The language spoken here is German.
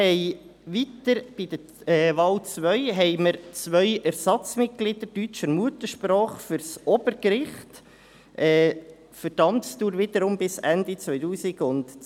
Bei der Wahl 2 haben wir zwei Ersatzmitglieder deutscher Muttersprache für das Obergericht, wiederum für die Amtsdauer bis 2022.